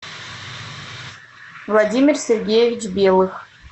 владимир сергеевич белых